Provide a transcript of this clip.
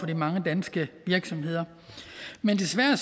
de mange danske virksomheder men desværre er